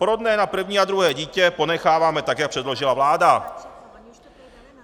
Porodné na první a druhé dítě ponecháváme tak, jak předložila vláda.